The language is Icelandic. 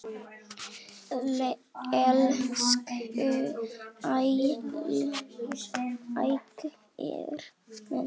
Elsku Ægir minn.